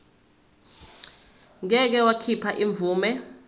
ngeke wakhipha imvume